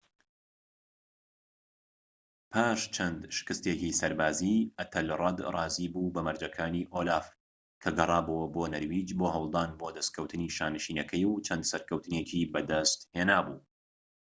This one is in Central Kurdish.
پاش چەند شکستێکی سەربازی ئەتەلرەد ڕازیی بوو بە مەرجەکانی ئۆلاف کە گەرابۆوە بۆ نەرویج بۆ هەولدان بۆ دەستکەوتنی شانشینەکەی و چەند سەرکەوتنێکی بەدەستهێنابوو